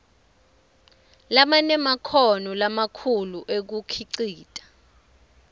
labanemakhono lamakhulu ekukhicita